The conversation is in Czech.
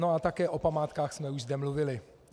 No a také o památkách jsme už zde mluvili.